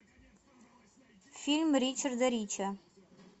фильм ричарда рича